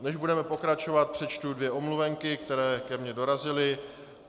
Než budeme pokračovat, přečtu dvě omluvenky, které ke mně dorazily.